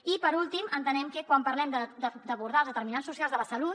i per últim entenem que quan parlem d’abordar els determinants socials de la salut